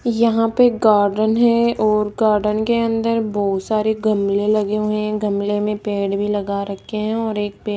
यहां पे गार्डन है और गार्डन के अंदर बहुत सारे गमले लगे हुए हैं गमले में पेड़ भी लगा रखे हैं और एक पे --